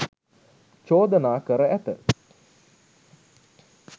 චෝදනා කර ඇත.